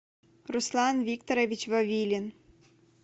руслан викторович вавилин